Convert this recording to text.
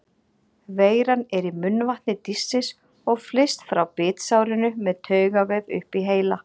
Veiran er í munnvatni dýrsins og flyst frá bitsárinu með taugavef upp í heila.